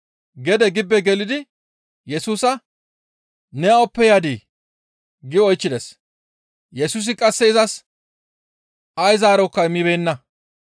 Gede gibbe gelidi Yesusa, «Ne awappe yadii?» gi oychchides. Yesusi qasse izas ay zaarokka immibeenna.